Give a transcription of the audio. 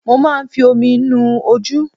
Mo máa ń fi omi nu ojú.